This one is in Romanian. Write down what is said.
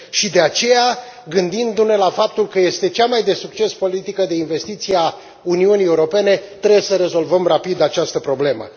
De aceea, gândindu ne la faptul că este cea mai de succes politică de investiții a Uniunii Europene, trebuie să rezolvăm rapid această problemă.